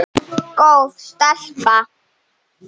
Góð stelpa.